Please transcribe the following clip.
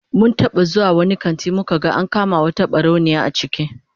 Mun taba zuwa wani kanti muka ga an kama wata barauniya a ciki